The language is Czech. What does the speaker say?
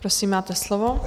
Prosím, máte slovo.